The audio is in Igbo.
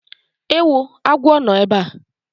Ewoo! agwọ nọ ebe a!